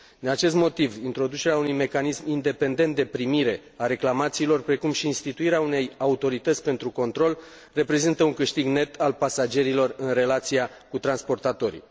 Din acest motiv, introducerea unui mecanism independent de primire a reclamațiilor, precum și instituirea unei autorități pentru control reprezintă un câștig net al pasagerilor în relația cu transportatorii.